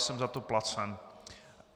Jsem za to placen.